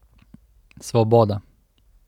Svoboda.